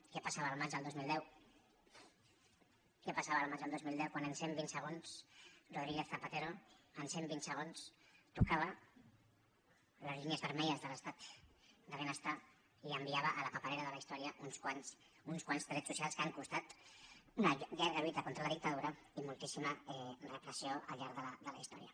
què passava el maig del dos mil deu què passava el maig del dos mil deu quan en cent vint segons rodríguez zapatero en cent vint segons tocava les línies vermelles de l’estat de benestar i enviava a la paperera de la història uns quants drets socials que han costat una llarga lluita contra la dictadura i moltíssima repressió al llarg de la historia